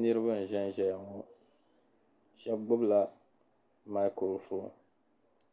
Niribi n ʒɛnzɛya ŋɔ shabi gbubla macur fɔn